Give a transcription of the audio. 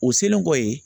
U selen kɔfɛ